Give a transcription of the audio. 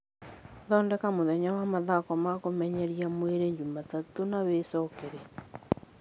thondeka mũthenya wa mathako ma kũmenyeria mwĩrĩ Jumatatũ na wĩĩ cokere